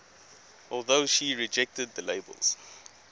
although she rejected the labels